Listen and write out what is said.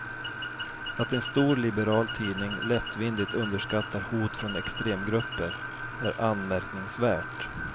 Att en stor liberal tidning lättvindigt underskattar hot från extremgrupper är anmärkningsvärt.